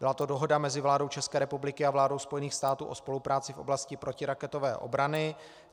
Byla to Dohoda mezi vládou České republiky a vládou Spojených států o spolupráci v oblasti protiraketové obrany.